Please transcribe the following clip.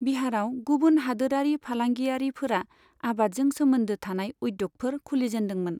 बिहाराव गुबुन हादोरारि फालांगिरियारिफोरा आबादजों सोमोनदो थानाय उध्य'गफोर खुलिजेनदोंमोन।